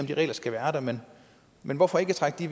de regler skal være der men men hvorfor ikke trække de